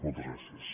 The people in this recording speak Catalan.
moltes gràcies